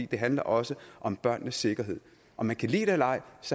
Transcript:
det handler også om børnenes sikkerhed om man kan lide det eller ej